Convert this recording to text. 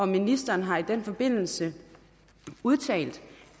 ministeren har i den forbindelse udtalt